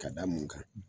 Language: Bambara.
Ka da mun kan